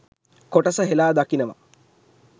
කොටස හෙලා දකිනව.